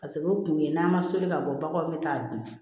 Paseke o kun ye n'an ma soli ka bɔ baganw be taa a dun